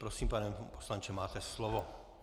Prosím, pane ministře, máte slovo.